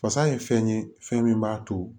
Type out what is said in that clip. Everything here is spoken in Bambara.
Fasa ye fɛn ye fɛn min b'a to